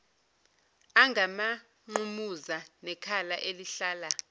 angamanqumuza nekhala elihlala